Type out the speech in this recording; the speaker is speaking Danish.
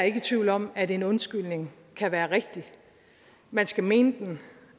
i tvivl om at en undskyldning kan være rigtig man skal mene den